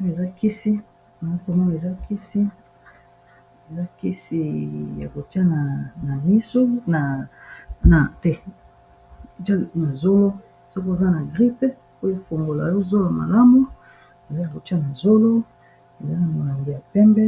Oyo ezakisi ya kotia ina zolo soko oza na grippe poya efungola yo zolo malamu ezali ya kotia na zolo ezali molango ya pembe